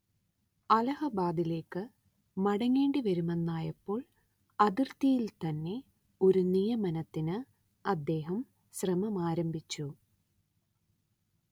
അലഹബാദിലേക്ക് മടങ്ങേണ്ടി വരുമെന്നായപ്പോൾ അതിർത്തിയിൽത്തന്നെ ഒരു നിയമനത്തിന് അദ്ദേഹം ശ്രമമാരംഭിച്ചു